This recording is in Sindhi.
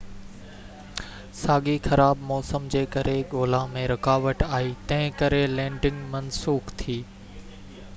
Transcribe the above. ساڳئي خراب موسم جي ڪري ڳولا ۾ رڪاوٽ آئي تنهن ڪري لينڊنگ منسوخ ٿي